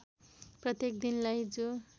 प्रत्येक दिनलाई जो